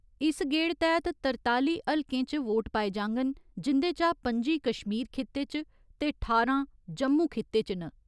इस गेड़ तैह्‌त तरताली हलकें च वोट पाए जाङन जिन्दे चा पं'जी कश्मीर खिते च ते ठारां जम्मू खिते च न।